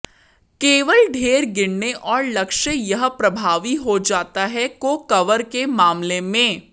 केवल ढेर गिरने और लक्ष्य यह प्रभावी हो जाता है को कवर के मामले में